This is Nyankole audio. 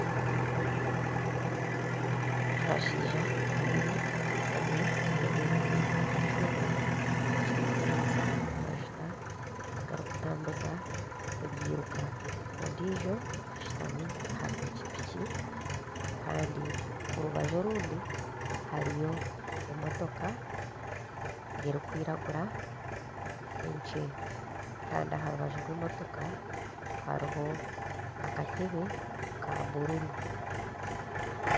Abashaija babiri omwe ayemereire aha kyoma ekirikuhereza amajuta agarikutambuza ebyiruka ondiijo ashutami aha pikipiki Kandi orubaju orundi hariyo emotoka erikwiragura ekye kandi aha rubaju rw'emitoka hariho akatebe ka bururu